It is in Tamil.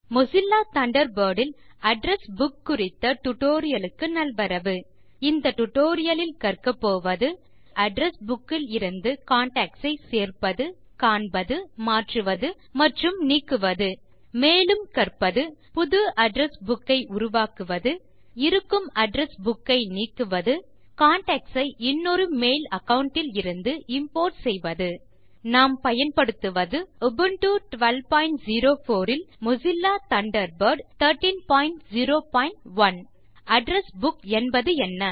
மொசில்லா தண்டர்பர்ட் இல் அட்ரெஸ் புக் குறித்த டுடோரியலுக்கு நல்வரவு இந்த டியூட்டோரியல் இல் கற்கப்போவது எப்படி அட்ரெஸ் புக் இலிருந்து கான்டாக்ட்ஸ் சேர்ப்பது காண்பது மாற்றுவது மற்றும் நீக்குவது மேலும் கற்பது புது அட்ரெஸ் புக் ஐ உருவாக்குவது இருக்கும் அட்ரெஸ் புக் ஐ நீக்குவது கான்டாக்ட்ஸ் ஐ இன்னொரு மெயில் அகாவுண்ட் இலிருந்து இம்போர்ட் செய்வது நாம் மொசில்லா தண்டர்பர்ட் 1301 ஐ உபுண்டு 1204 இல் பயன்படுத்துக்கிறோம் அட்ரெஸ் புக் என்பது என்ன